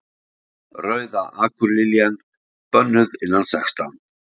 Rauða akurliljan. bönnuð innan sextán